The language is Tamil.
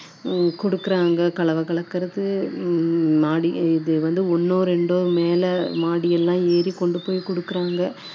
அதே வேலை தான் வந்து ஆண்களும் செய்றாங்க பெண்களும் செய்றாங்க ஆண்களை விட பெண்கள்தான் வந்துட்டு எல்லாம் மண் சுமக்குறது எல்லாமே இது பண்ணி